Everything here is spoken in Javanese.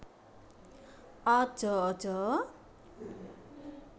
Aja aja